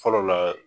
Fɔlɔ la